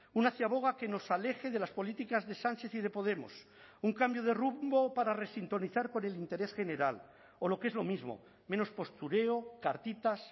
una ciaboga que nos aleje de las políticas de sánchez y de podemos un cambio de rumbo para resintonizar con el interés general o lo que es lo mismo menos postureo cartitas